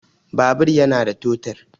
Babur yana da totur